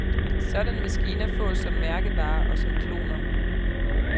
Sådanne maskiner fås som mærkevare og som kloner.